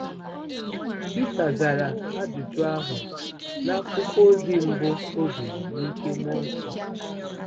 Pita zara ajụjụ ahụ n'akwụkwọ ozi mbụ o dere n'ike mmụọ nsọ.